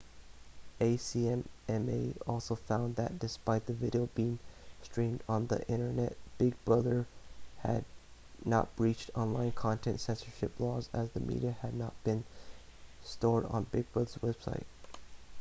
the acma also found that despite the video being streamed on the internet big brother had not breached online content censorship laws as the media had not been stored on big brother's website